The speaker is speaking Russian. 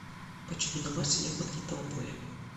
почему на марсе нет магнитного поля